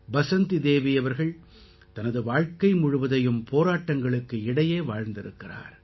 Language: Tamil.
பசந்தி தேவி தனது வாழ்க்கை முழுவதையும் போராட்டங்களுக்கு இடையே வாழ்ந்திருக்கிறார்